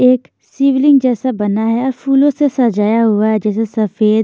एक शिवलिंग जैसा बना है और फूलों से सजाया हुआ हैजैसे सफेद--